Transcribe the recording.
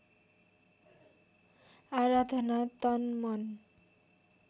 आराधना तन मन